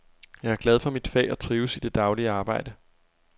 Jeg er glad for mit fag og trives i det daglige arbejde.